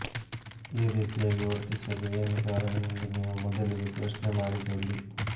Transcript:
ಈ ರೀತಿಯಾಗಿ ವರ್ತಿಸಲು ಏನು ಕಾರಣ ಎಂದು ನೀವು ಮೊದಲಿಗೆ ಪ್ರಶ್ನೆ ಮಾಡಿಕೊಳ್ಳಿ